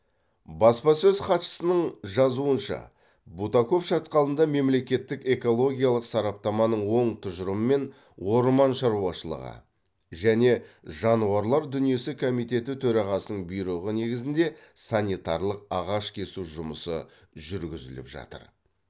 баспасөз хатшысының жазуынша бутаков шатқалында мемлекеттік экологиялық сараптаманың оң тұжырымымен орман шаруашылығы және жануарлар дүниесі комитеті төрағасының бұйрығы негізінде санитарлық ағаш кесу жұмысы жүргізіліп жатыр